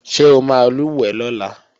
Ṣé o máa lùwẹ̀ lọ́la?